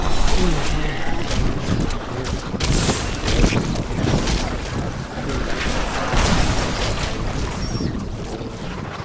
यहां सामने एक घर दिखाई दे रहा है और --